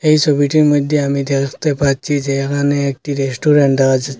এই সোবিটির মইদ্যে আমি দেখতে পাচ্ছি যে এখানে একটি রেস্টুরেন্ট দেখা যাচ--